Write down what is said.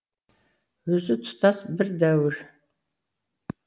өзі тұтас бір дәуір